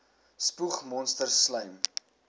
spoeg monsters slym